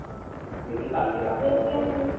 দেখি কালকে রাতে